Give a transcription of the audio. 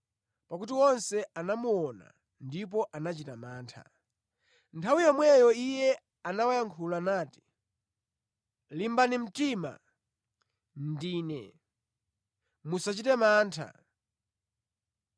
pakuti onse anamuona ndipo anachita mantha. Nthawi yomweyo Iye anawayankhula nati, “Limbani mtima! Ndine. Musachite mantha.”